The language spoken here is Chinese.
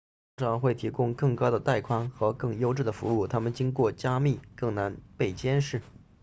它们通常会提供更高的带宽和更优质的服务它们经过加密更难被监视